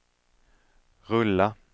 rulla